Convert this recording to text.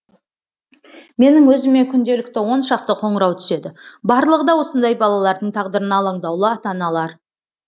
менің өзіме күнделікті он шақты қоңырау түседі барлығы да осындай балалардың тағдырына алаңдаулы ата аналар